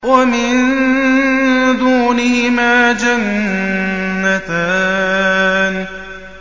وَمِن دُونِهِمَا جَنَّتَانِ